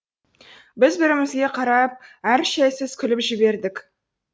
біз бір бірімізге қарап әр шәйсіз күліп жібердік